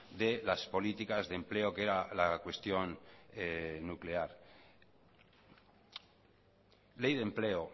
de las políticas de empleo que era la cuestión nuclear ley de empleo